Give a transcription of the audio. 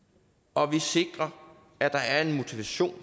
og vi sikrer at der er en motivation